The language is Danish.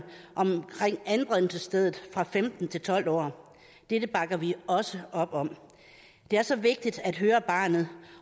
om anbringelsessted dette bakker vi også op om det er så vigtigt at høre barnet